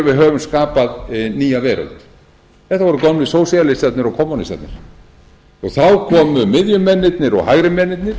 við höfum skapað nýja veröld þetta voru gömlu sósíalistarnir og kommúnistarnir þá komu miðjumennirnir og hægri mennirnir